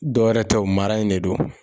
Dɔwɛrɛ tɛ wo, mara in de don.